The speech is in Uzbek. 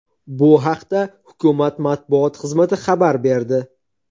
Bu haqda hukumat matbuot xizmati xabar berdi .